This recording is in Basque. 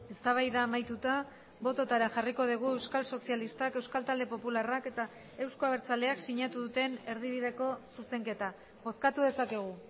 eztabaida amaituta bototara jarriko dugu euskal sozialistak euskal talde popularrak eta euzko abertzaleak sinatu duten erdibideko zuzenketa bozkatu dezakegu